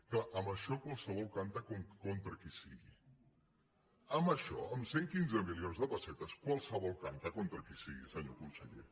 clar amb això qualsevol canta contra qui sigui amb això amb cent i quinze milions de pessetes qualsevol canta contra qui sigui senyor conseller